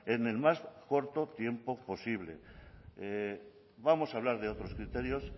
en el más corto tiempo posible vamos hablar de otros criterios